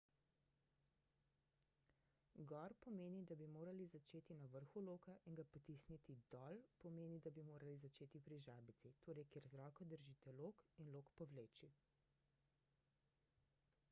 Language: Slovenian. gor pomeni da bi morali začeti na vrhu loka in ga potisniti dol pomeni da bi morali začeti pri žabici torej kjer z roko držite lok in lok povleči